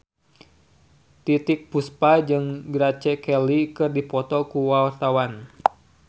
Titiek Puspa jeung Grace Kelly keur dipoto ku wartawan